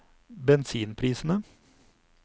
bensinprisene